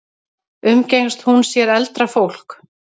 Umgengst hún sér eldra fólk?